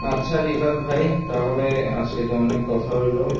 আচ্ছা রিশাদ ভাই তাহলে আজকে তো অনেক কথা হলো,